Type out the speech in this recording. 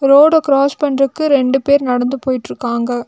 ரோட கிராஸ் பண்றக்கு ரெண்டு பேர் நடந்து போயிட்ருக்காங்க.